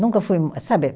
Nunca fui, sabe?